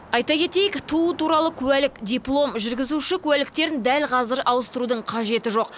айта кетейік туу туралы куәлік диплом жүргізуші куәліктерін дәл қазір ауыстырудың қажеті жоқ